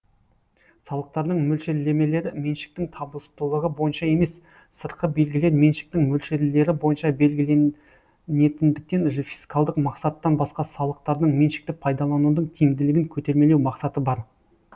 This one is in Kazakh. салықтардың мөлшерлемелері меншіктің табыстылығы бойынша емес сыртқы белгілер меншіктің мөлшерлері бойынша белгіленетіндіктен фискалдық мақсаттан басқа салықтардың меншікті пайдаланудың тиімділігін көтермелеу мақсаты бар